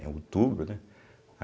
É outubro, né?